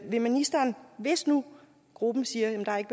vil ministeren hvis nu gruppen siger at der ikke